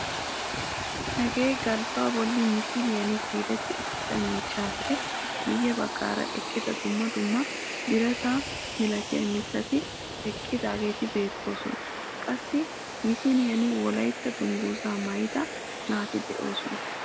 Hagee galbbaa bolli misiliyaan siiletti uttida miishshappe miye baggaara eqqida dumma dumma birata milatiyaa mittati eqqidaageti beettoosona. qassi misiliyaan wolaytta dunguzzaa maayida naati de'oosona.